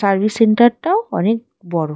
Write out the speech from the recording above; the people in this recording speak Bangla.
সার্ভিস সেন্টার -টাও অনেক বড়।